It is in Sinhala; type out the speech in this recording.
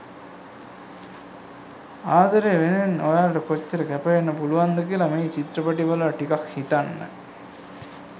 ආදරය වෙනුවෙන් ඔයාලට කොච්චර කැපවෙන්න පුලුවන්ද කියලා මේ චිත්‍රපටිය බලලා ටිකක් හිතන්න.